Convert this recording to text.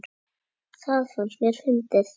Það fannst mér fyndið.